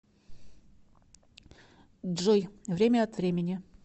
джой время от времени